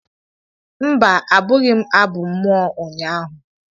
mba, abụghị m abụ mmụọ ụnyaahụ